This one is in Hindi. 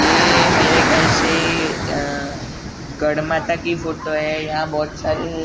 ये मेरे खयाल से गढ़माता की फोटो है यहाँ बहुत सारी।